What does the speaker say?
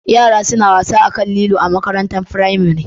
Yara suna wasa akan lilo a makarantar firamare